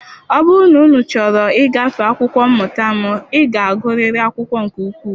Ọ bụrụ na unu chọrọ ịgafe akwụkwọ mmụta m, ị ga-agụrịrị akwụkwọ nke ukwuu